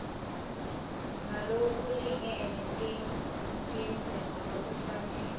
ngalokulingene tindze ngalokufanele